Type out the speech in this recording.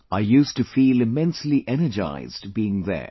I used to feel immensely energized being there